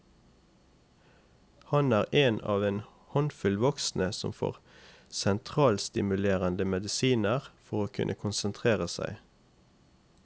Han er en av en håndfull voksne som får sentralstimulerende medisiner for å kunne konsentrere seg.